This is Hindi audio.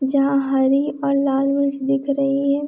जहाँ हरी और लाल मिर्च दिख रही है।